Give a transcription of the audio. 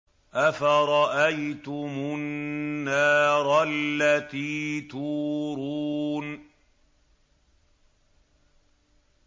أَفَرَأَيْتُمُ النَّارَ الَّتِي تُورُونَ